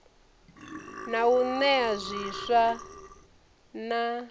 na u nea zwiswa na